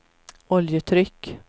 oljetryck